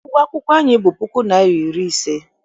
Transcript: Ụgwọ akwụkwọ anyị bụ puku naịra na iri ise.